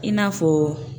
I n'a fɔ